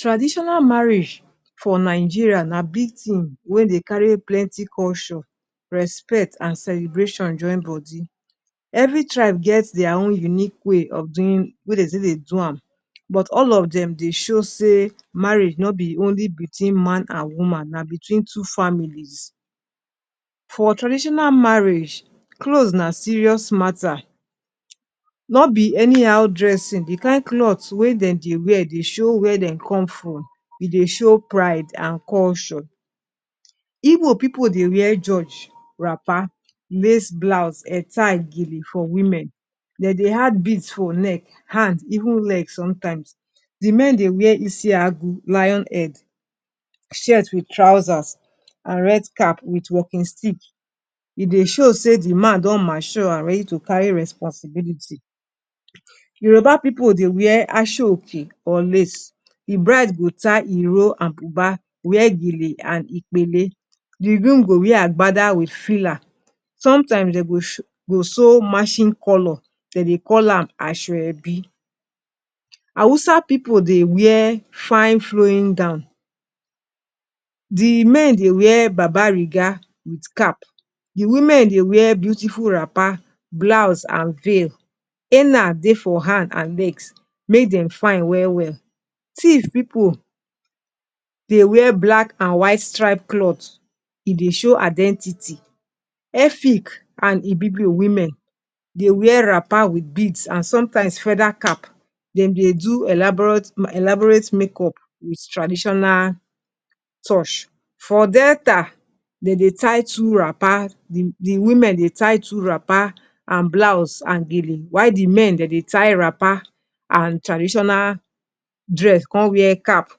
Traditional marriage for Nigerians na big thing wey they carry plenty culture, respect, and celebration join body. Every tribe get their own unique way of doing wey they say dem Dey do, but all of them, they show sey marriage no be only between man and woman, na between two families. For traditional marriage, clothes na serious matter. No be any how dressing. The kind cloth wey dem dey wear dey show where dey come from. E dey show pride and culture. Igbo people dey wear george wrapper, lace blouse, head tie gele for women. Dey dey add beads for neck, hand, even leg sometimes. Di men dey wear isiagu, lion head, shirt with trousers, and red cap with walking stick. E dey show sey dey man don mature and ready to carry responsibility. Yoruba people dey wear asoke or lace, de bride go tie iro and buba, wear gele and ipele. The groom go wear agbada with fila, sometimes dem go sew matching color, dem dey call am asoebi. Hausa people dey wear fine flowing gown, the men dey wear babariga with cap, the women dey wear beautiful rapper, blouse and veil. Henna dey for hand and legs make dem fine well well. Tiv pipu dey wear black and white stripe cloth, e dey show identity. Efik and Ibibio women dey wear rapper with beads and sometimes federal cap, dem dey do elaborate makeup with traditional touch. For Delta dem dey tie two rapper, the women dey tie two wrapper and blouse and gele while the men dem dey tie rapper and traditional dress kan wear cap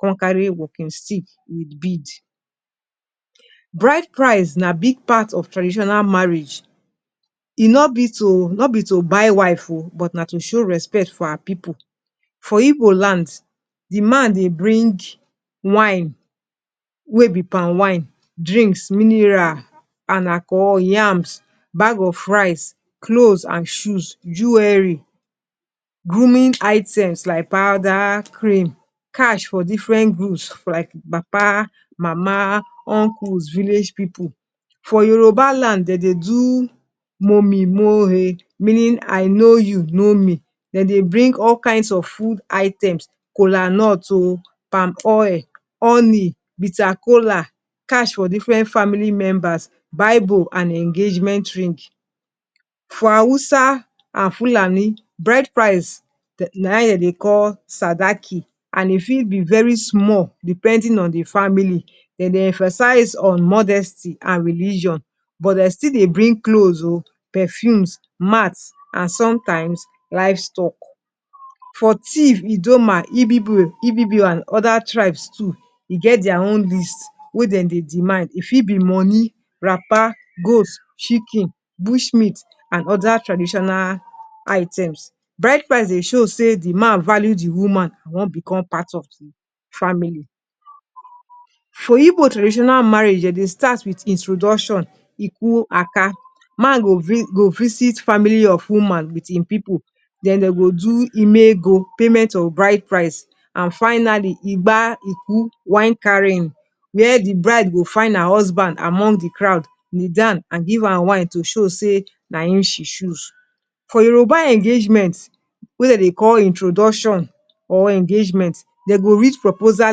kan carry walking stick with bead Bride price na big part of tradition marriage,e no bi to no bi to buy wife o but na to show respect for her pipu. For igbo lands, de man dey bring wine wey bi palmwine, drinks, mineral and alcohol yams, bag of rice, cloths and shoes, jewelry, grooming items like powder, cream, cash for different group like papa, mama, uncles, village people. For Yoruba land, dey dey do mo mi mo o, meaning I know you, you know me. Dey dey bring all kinds of food items. Kola nut o, palm oil, honey, bitter cola, cash for different family members, Bible, and engagement ring. For hausa and fulani, bride price, na him dey call sadaki, and if it be very small. Depending on the family, dem dey emphasize on modesty and religion, but dem still bring clothes o, perfumes, mats, and sometimes livestock. For Tiv, Idoma, ibibio, and other tribes too, they get their own list wey dem dey demand. It fit be money, wrapper, goats, chicken, bush meat, and other traditional items. Bride price dey show say the man value the woman and won become part of the family. For Igbo traditional marriage, dem dey start with introduction, iku aka, man go bri visit family of woman with hin pipu, then dem go do imego payment of bride price, and finally, igba iku, wine carrying, where the bride go find her husband among the crowd, kneel down, and give am wine to show say na hin she choose. For Yoruba engagements, wey dem they call introduction or engagement. Dem go read proposal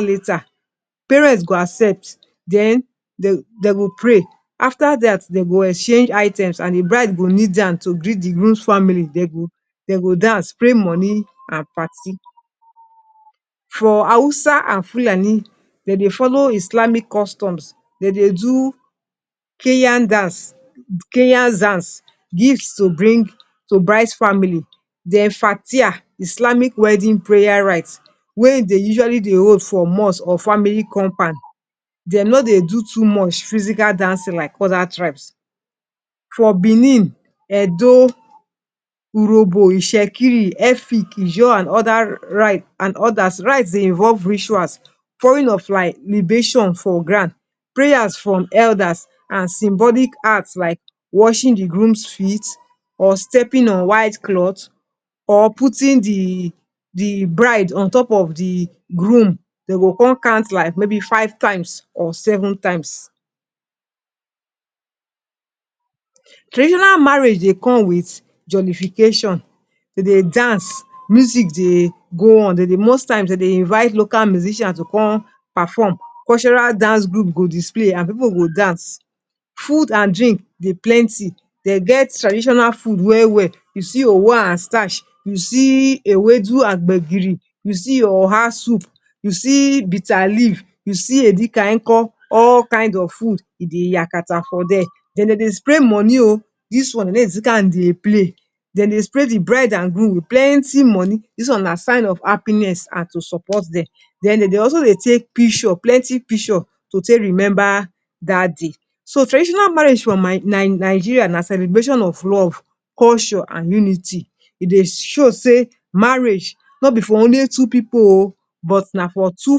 letter, parent go accept, den dem go pray. After that dem go exchange item and the bride go kneel down to greet the groom family, dem go dance spray money and party. For Hausa and fulani, dem dey follow islamic custom, dem dey do kayan dance, kanya dance gift to give bride family den fathia islamic wedding prayer rite wey dey usually dey hold for mosque or family compound, dem no dey do too much physical dancing like other tribes. For Benin, Edo, Urobo, Isekiri, Efik, Ejo and other rite and others, rite dey involve rituals, pouring of like libation for ground, prayers from elders and symbolic act like washing the groom's feet or stepping on white cloth or putting the bride on top of the groom Dem go con count like maybe five times or seven times. Traditional marriage dey come with jollification. dem dey dance, music dey go on. The most times they invite local musicians to come perform. Cultural dance group go display and people go dance. Food and drink dey plenty. They get traditional food well well. You see your uwa and starch. You see ewedu and gbegiri. You see your oha soup, you see bitter leaf, you see Edikayikan, all kinds of food dey yakata for dere. Den dem dey stray money oh, this one dem no dey use am dey play, dem dey stray the bride and groom with plenty money. This one na sign of happiness and to support dem, den dem dey also dey take picture plenty picture to take remember that day. So traditional marriage for my my Nigeria na celebration of love, culture and unity. E Dey show say marriage no be for only two people o, but na for two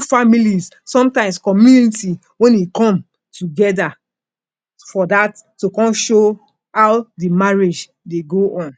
families, sometimes community when hin come together for that to come show how the marriage they go on.